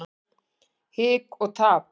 Hik og tap.